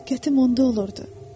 Diqqətim onda olurdu.